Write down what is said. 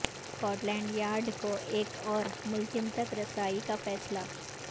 Scot land Yard کو ایک اور ملزم تک رسائی کا فیصلہ